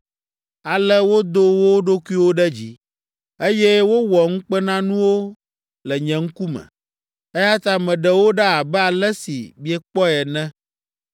Ale wodo wo ɖokuiwo ɖe dzi, eye wowɔ ŋukpenanuwo le nye ŋkume. Eya ta meɖe wo ɖa abe ale si miekpɔe ene.